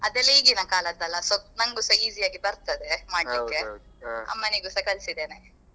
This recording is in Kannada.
ಅದೆಲ್ಲಾ ಈಗಿನ ಕಾಲದ್ದಲ್ಲ. So ನಂಗುಸ easy ಆಗಿ ಬರ್ತದೇ ಮಾಡ್ಲಿಕ್ಕೆ ಅಮ್ಮನಿಗೂಸ ಕಲ್ಸಿದ್ದೇನೆ.